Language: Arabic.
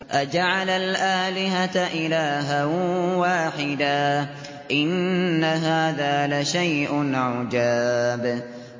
أَجَعَلَ الْآلِهَةَ إِلَٰهًا وَاحِدًا ۖ إِنَّ هَٰذَا لَشَيْءٌ عُجَابٌ